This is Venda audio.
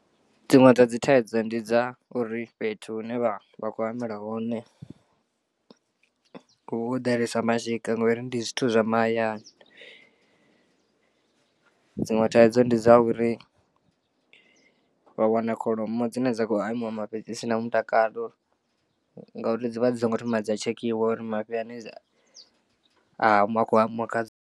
Dziṅwe dza dzi thaidzo ndi dza uri fhethu hune vha vha khou hamela hone ho ḓalesa mashika ngori ndi zwithu zwa mahayani. Dziṅwe thaidzo ndi dza uri vha wana kholomo dzine dza khou hamiwa mafhi dzi si na mutakalo ngauri dzivha dzi songo thoma dza tshekhiwa uri mafhi ane akho hamiwa khadzo.